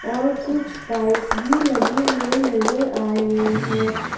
और कुछ बाइक भी लगे हुए नजर आए हैं।